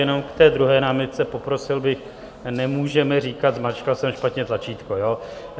Jenom k té druhé námitce - poprosil bych, nemůžeme říkat "zmáčkla jsem špatně tlačítko".